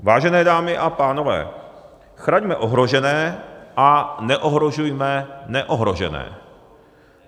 Vážené dámy a pánové, chraňme ohrožené a neohrožujme neohrožené.